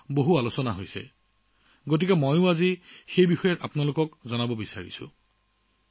সেইবাবেই আজি আপোনালোকৰ লগত কথা পাতিম বুলি ভাবিলোঁ